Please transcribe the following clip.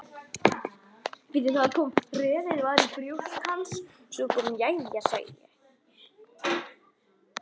Jæja, sagði ég.